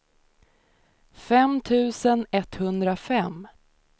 fem tusen etthundrafem